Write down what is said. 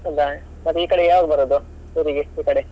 ಹೌದಾ, ಮತ್ತೆ ಈಕಡೆ ಯಾವಾಗ್ ಬರುದು, ಊರಿಗೆ ಈಕಡೆ?